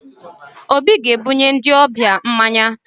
Obi ga-ebunye ndị ọbịa mmanya